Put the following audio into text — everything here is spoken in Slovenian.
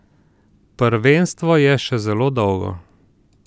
Prvenstvo je še zelo dolgo.